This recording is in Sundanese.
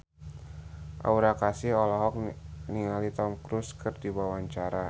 Aura Kasih olohok ningali Tom Cruise keur diwawancara